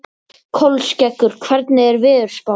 Kolskeggur, hvernig er veðurspáin?